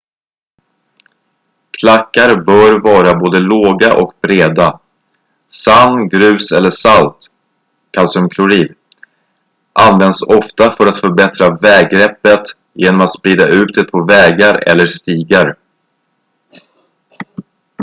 klackar bör vara både låga och breda. sand grus eller salt kalciumklorid används ofta för att förbättra väggreppet genom att sprida ut det på vägar eller stigar